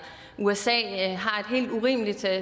usa har et helt urimeligt